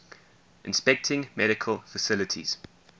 inspecting medical facilities